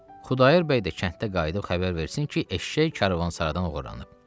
Xudayar bəy də kənddə qayıdıb xəbər versin ki, eşşək karvansaradan oğurlanıb.